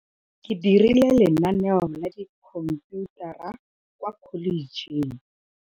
Ke dirile lenanêô la dikhomphutara kwa Kholetŝheng.